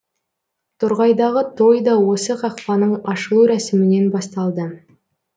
торғайдағы той да осы қақпаның ашылу рәсімінен басталды